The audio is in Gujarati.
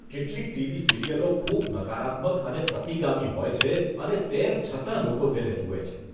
કેટલીક ટીવી સિરિયલો ખૂબ નકારાત્મક અને પ્રતિગામી હોય છે, અને તેમ છતાં લોકો તેને જુએ છે.